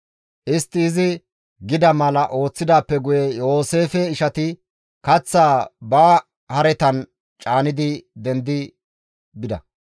Istti izi gida mala ooththidaappe guye Yooseefe ishati kaththaa ba haretan caanidi dendi bida.